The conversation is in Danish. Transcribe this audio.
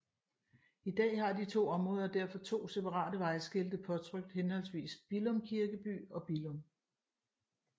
I dag har de to områder derfor to separate vejskilte påtrykt henholdsvis Billum Kirkeby og Billum